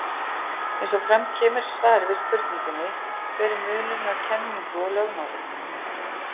Eins og fram kemur í svari við spurningunni Hver er munurinn á kenningu og lögmáli?